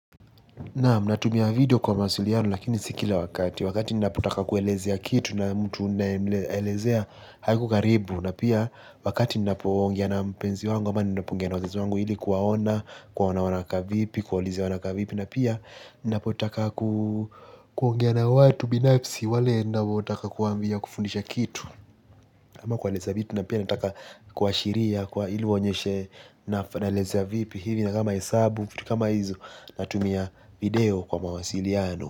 Naam natumia video kwa mawasiliano lakini si kila wakati wakati ninapotaka kuelezea kitu na mtu ninaelezea hako karibu na pia wakati ninapoongea na mpenzi wangu ama ninapoongea na wazazi wangu ili kuwaona kuwaona wanakaa vipi kuwaulize wanakaa vipi na pia ninapotaka kuongea na watu binafsi wale ninaootaka kuwaambia wakufundishe kitu ama kuelezea vipi na pia nataka kuashiria kwa ili waonyeshe naelezea vipi hivi ni kama hesabu vitu kama hizo natumia video Kwa Mawasiliano.